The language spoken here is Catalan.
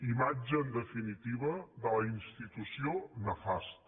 imatge en definitiva de la institució nefasta